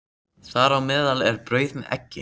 Þar á meðal er brauð með eggi.